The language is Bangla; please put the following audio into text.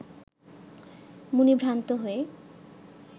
মুনি ভ্রান্ত হয়